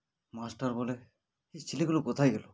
master বলে এই ছেলেগুলো কোথায় গেল